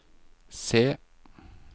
se